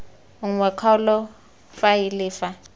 nngwe ya kgaolo faele fa